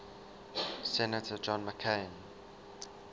senator john mccain